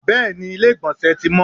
bẹẹni, ilé igbónse tí mọ